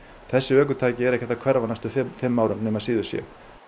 þessi ökutæki eru ekkert að hverfa á næstu fimm árum nema síður sé